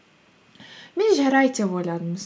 мен жарайды деп ойладым